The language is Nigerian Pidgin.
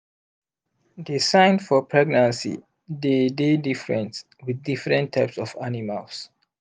the sign for pregnancy dey dey difrent with diffrent types of animals